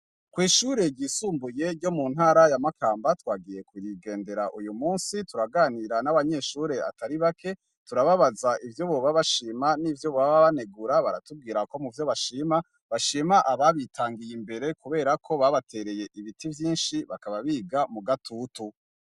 Kw'ishure ryisumbuye ryo muntara ya Makamba, twagiye kurigendera uyumunsi ,turaganira n'abanyeshure batari bake ,turababaza ivyo boba bashima n'ivyo bibanegura ,baratubwira ko muvyo bashima bashima ababitangiye imbere, kubera ko babatereye ibiti vyinshi bakaba biga mugatutu.